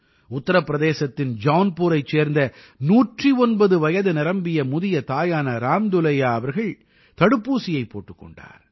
உத்தர பிரதேசத்தின் ஜௌன்புரைச் சேந்த 109 வயது நிரம்பிய முதிய தாயான ராம் துலையா அவர்கள் தடுப்பூசியைப் போட்டுக் கொண்டார்